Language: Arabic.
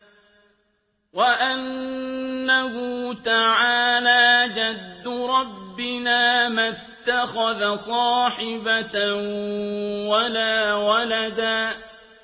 وَأَنَّهُ تَعَالَىٰ جَدُّ رَبِّنَا مَا اتَّخَذَ صَاحِبَةً وَلَا وَلَدًا